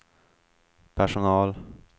personal